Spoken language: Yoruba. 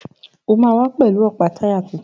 O máa wá pẹ̀lú ọ̀pá táyà tuntun.